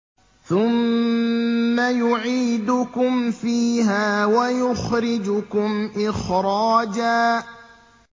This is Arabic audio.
ثُمَّ يُعِيدُكُمْ فِيهَا وَيُخْرِجُكُمْ إِخْرَاجًا